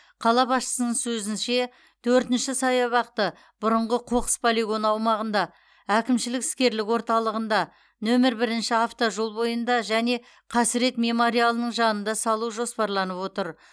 қала басшысының сөзінше төртінші саябақты бұрынғы қоқыс полигоны аумағында әкімшілік іскерлік орталығында нөмір бірінші автожол бойында және қасірет мемориалының жанында салу жоспарланып отыр